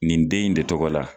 Nin den in de tɔgɔ la.